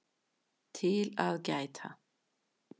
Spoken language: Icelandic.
TIL AÐ GÆTA